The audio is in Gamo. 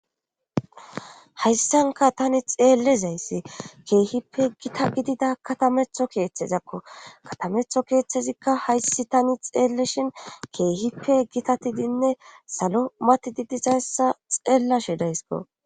Hayssanka tani xeelezayssi keehippe gita gidida katametho keeththezakko katametho keeththezikka hayssi tani xeelleshin keehippe gitatidinne salo matididizayssa xeella shidaysko.